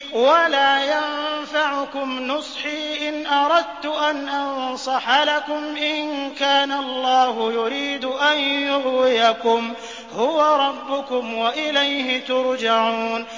وَلَا يَنفَعُكُمْ نُصْحِي إِنْ أَرَدتُّ أَنْ أَنصَحَ لَكُمْ إِن كَانَ اللَّهُ يُرِيدُ أَن يُغْوِيَكُمْ ۚ هُوَ رَبُّكُمْ وَإِلَيْهِ تُرْجَعُونَ